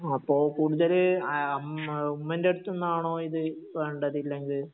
അപ്പോൾ കൂടുതല് ആ ആ ഉമ്മേന്റടുത്തൂന്നാണോ വേണ്ടത് ഇല്ലെങ്കിൽ